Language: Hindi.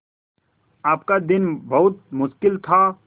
आपका दिन बहुत मुश्किल था